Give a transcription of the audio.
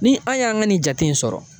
Ni an y'an ka nin jate in sɔrɔ.